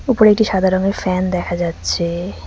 উপরে একটি সাদা রঙের ফ্যান দেখা যাচ্ছে।